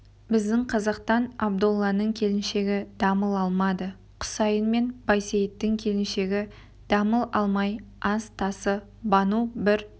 біздің қазақтан абдолланың келіншегі дамыл алмады құсайын мен байсейіттің келіншегі дамыл алмай ас тасы бану бір